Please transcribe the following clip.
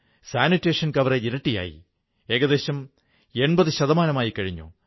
ജ്യോതിർലിംഗങ്ങളുടെയും ശക്തിപീഠങ്ങളുടെയും ശൃംഖല ഭാരതത്തെ ഒരു ചരടിൽ കോർക്കുന്നു